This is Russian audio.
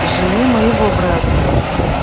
жены моего брата